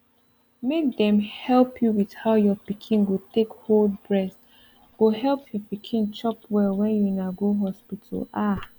make dem help you with how your pikin go take hold breast go help your pikin chop well when una go hospital ah